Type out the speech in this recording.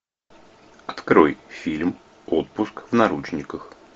открой фильм отпуск в наручниках